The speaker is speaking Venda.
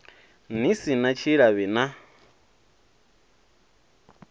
ni si na tshilavhi na